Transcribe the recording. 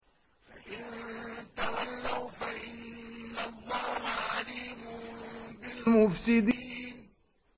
فَإِن تَوَلَّوْا فَإِنَّ اللَّهَ عَلِيمٌ بِالْمُفْسِدِينَ